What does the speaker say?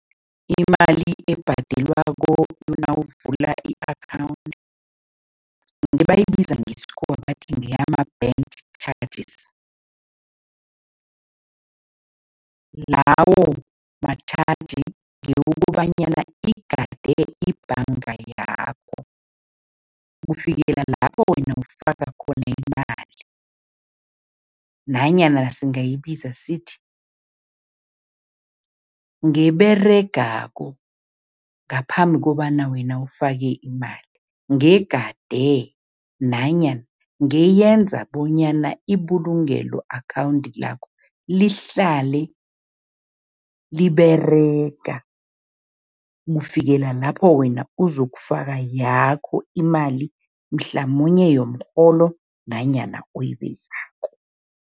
Imali ebhadelwako nawuvula i-akhawundi, ngebayibiza ngesikhuwa bathi ngeyama-bank charges. Lawo matjhaji ngewokobanyana igade ibhanga yakho, kufikela lapho wena ufaka khona imali nanyana singayibiza sithi, ngeberegako ngaphambi kobana wena ufake imali, ngegade nanyana ngeyenza bonyana ibulungelo akhawundi lakho, lihlale liberega kufikela lapho wena uzokufaka yakho imali, mhlamunye yomrholo nanyana oyibekako.